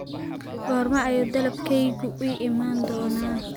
goorma ayuu dalabkaygu ii iman doonaa